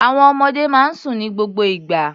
Àwọn ọmọdé máa ń sùn ní gbogbo ìgbà.